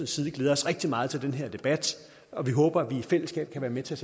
side glæder os rigtig meget til den her debat og at vi håber at vi i fællesskab kan være med til